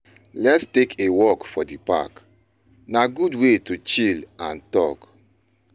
Let us take a walk for the park; na good way to chill and talk.